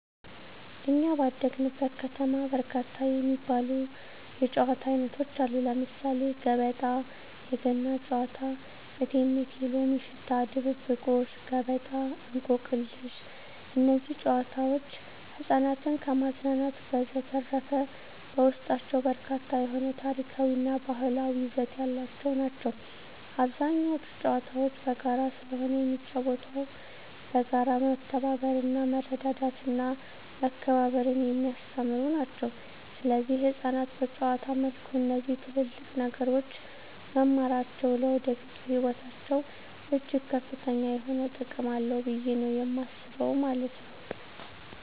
በኛ ባደግንበት ከተማ በርካታ የሚባሉ የጨዋታ አይነቶች አሉ ለምሳሌ ገበጣ: የገና ጨዋታ እቴሜቴ የሎሚ ሽታ ድብብቆሽ ገበጣ እንቆቅልሽ እነዚህ ጨዋታዎች ህፃናትን ከማዝናናት በዠተረፈ በውስጣቸው በርካታ የሆነ ታሪካዊ እና ባህላዊ ይዘት ያላቸው ናቸው አብዛኞቹ ጨዋታዎች በጋራ ስለሆነ የሚጫወተው በጋራ መተባበርና መረዳዳትና መከባበርን የሚያስተምሩ ናቸው ሰለዚህ ህፃናት በጨዋታ መልኩ እነዚህ ትልልቅ ነገሮች መማራቸው ለወደፊቱ ህይወታቸው እጅግ ከፍተኛ የሆነ ጥቅም አለው ብየ ነው የማስበው ማለት ነው።